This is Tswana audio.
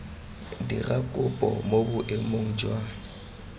dira kopo mo boemong jwa